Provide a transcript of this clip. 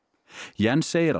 Jens segir að